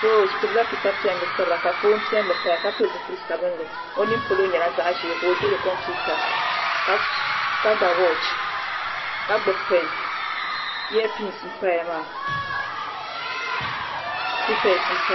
Doo ɔ gbubi la pepa piɛli sabira. ka fɔn piɛli paya ka pili zipili sabinli ɔmini pɔlɔ nyɛla zaɣi ʒɛɛ, ka ɔdihi konpiutre, ka ga woch, ka gbubi pen , eaye pindi n paya maa , pepeas n paya maa.